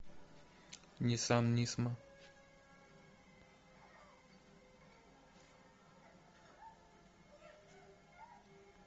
ниссан нисма